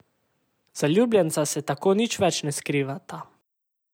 Zaljubljenca se tako nič več ne skrivata.